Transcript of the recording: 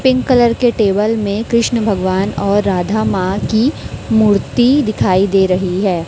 Pink colour के table में कृष्ण भगवान और राधा मां की मूर्ति दिखाई दे रही है।